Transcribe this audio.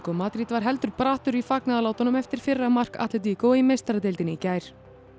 Madrid var heldur brattur í fagnaðarlátunum eftir fyrra mark í meistaradeildinni í gær